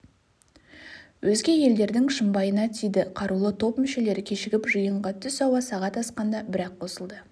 өзге елдердің шымбайына тиді қарулы топ мүшелері кешігіп жиынға түс ауа сағат асқанда бір-ақ қосылды